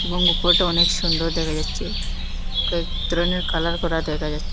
এবং উপরটা অনেক সুন্দর দেখা যাচ্ছে কয়েক ধরনের কালার করা দেখা যাছ--